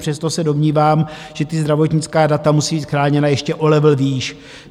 Přesto se domnívám, že ta zdravotnická data musí být chráněna ještě o level výš.